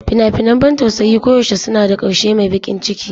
Fina-finan ban tausayi koyaushe suna da ƙarshe mai baƙin ciki.